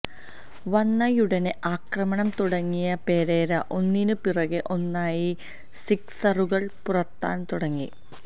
വന്നയുടനേ ആക്രമണം തുടങ്ങിയ പെരേര ഒന്നിന് പിറകേ ഒന്നായി സിക്സറുകൾ പറത്താൻ തുടങ്ങി